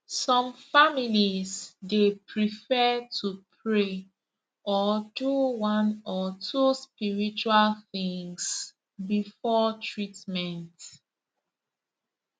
some families dey prefer to pray or do one or two spiritual things before treatment